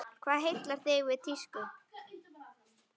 Hvað heillar þig við tísku?